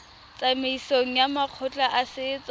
tsamaisong ya makgotla a setso